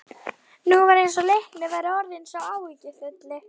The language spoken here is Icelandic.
Nú var eins og Leiknir væri orðinn sá áhyggjufulli.